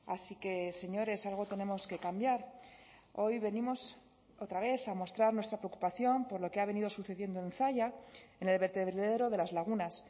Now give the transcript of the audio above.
así que señores algo tenemos que cambiar hoy venimos otra vez a mostrar nuestra preocupación por lo que ha venido sucediendo en zalla en el vertedero de las lagunas